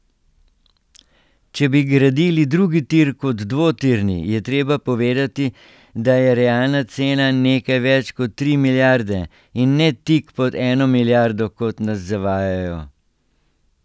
Če bi gradili drugi tir kot dvotirni, je treba povedati, da je realna cena nekaj več kot tri milijarde, in ne tik pod eno milijardo, kot nas zavajajo.